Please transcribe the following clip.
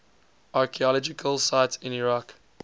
archaeological sites in iraq